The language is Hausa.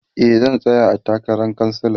e zan tsaya a takaran kansala